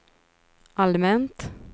allmänt